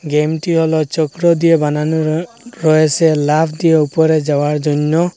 গেমটি হল চক্র দিয়ে বানানো রয় রয়েসে লাফ দিয়ে উপরে যাওয়ার জন্য।